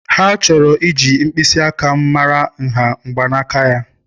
Ha chọrọ iji mkpịsị aka m mara nha mgbanaka ya.